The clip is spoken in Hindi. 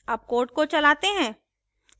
अब code को चलाते हैं